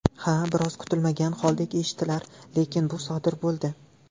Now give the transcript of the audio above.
Ha, biroz kutilmagan holdek eshitilar, lekin bu sodir bo‘ldi.